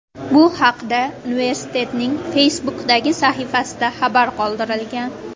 Bu haqda universitetning Facebook’dagi sahifasida xabar qoldirilgan .